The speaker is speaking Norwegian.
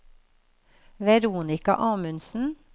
Veronica Amundsen